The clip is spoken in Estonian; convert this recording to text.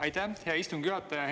Aitäh, hea istungi juhataja!